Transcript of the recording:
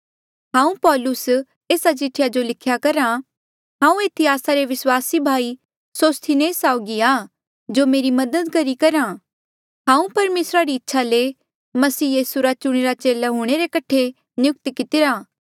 हांऊँ पौलुस एस्सा चिठ्ठी जो लिख्या करहा हांऊँ एथी आस्सा रे विस्वासी भाई सोस्थिनेस साउगी आ जो मेरी मदद करी करहा हांऊँ परमेसर री इच्छा ले मसीह यीसू रा चुणिरे चेले हूंणे रे कठे नियुक्त कितिरा